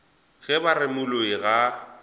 ge ba re moloi ga